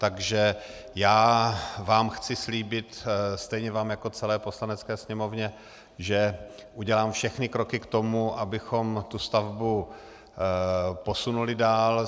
Takže já vám chci slíbit - stejně vám jako celé Poslanecké sněmovně - že udělám všechny kroky k tomu, abychom tu stavbu posunuli dál.